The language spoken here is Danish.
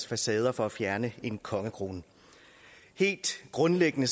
facade for at fjerne en kongekrone helt grundlæggende